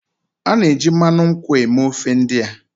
A na-eji mmanụ nkwụ eme ofe ndị a